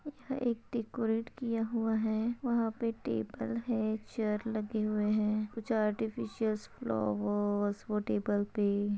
यह एक डेकोरेट किया हुआ है। वहा पे टेबल है चैअर लगे हुए है कुछ आर्टिफीसियल फ्लावर्स वो टेबल पे--